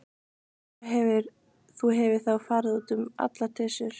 Þú hefur þá farið út um allar trissur?